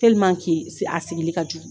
a sigili ka jugu.